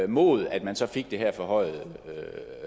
mod at man så fik det her forhøjede